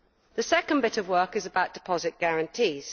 The second bit of work is about deposit guarantees.